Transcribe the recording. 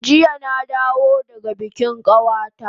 Jiya na dawo daga bikin kawata